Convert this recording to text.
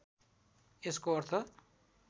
यसको अर्थ